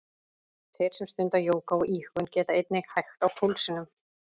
Þeir sem stunda jóga og íhugun geta einnig hægt á púlsinum.